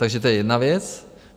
Takže to je jedna věc.